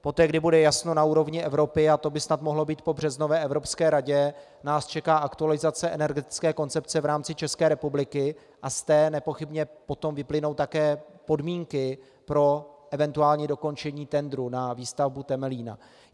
Poté, kdy bude jasno na úrovni Evropy, a to by snad mohlo být po březnové Evropské radě, nás čeká aktualizace energetické koncepce v rámci České republiky a z té nepochybně potom vyplynou také podmínky pro eventuální dokončení tendru na výstavbu Temelína.